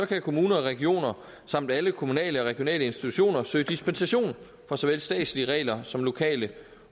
kan kommuner og regioner samt alle kommunale og regionale institutioner søge dispensation fra såvel statslige regler som lokale